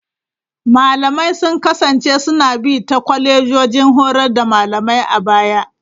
Malamai sun kasance suna bi ta kwalejojin horar da malamai a baya.